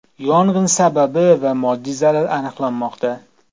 Yong‘in sababi va moddiy zarar aniqlanmoqda.